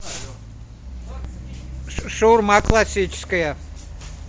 шаурма классическая